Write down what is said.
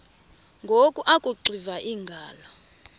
ngoku akuxiva iingalo